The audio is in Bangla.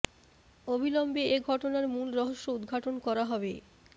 অবিলম্বে এ ঘটনার মূল রহস্য উদ্ঘাটন করা হবে